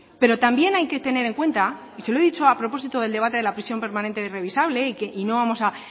pero también hay que tener en cuenta y se lo he dicho a propósito del debate de la prisión permanente revisable y que no vamos a